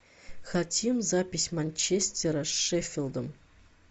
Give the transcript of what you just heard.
хотим запись манчестера с шеффилдом